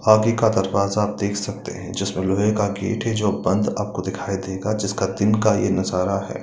आगे का दरवाजा आप देख सकते हैं जिसमें लोहे का गेट है जो बंद आपको दिखाई देगा जिसका तिनका एक सारा है।